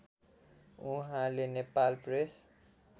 उहाँले नेपाल प्रेस